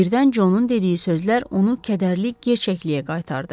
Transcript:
Birdən Jonun dediyi sözlər onu kədərli gerçəkliyə qaytardı.